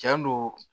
Tiɲɛ don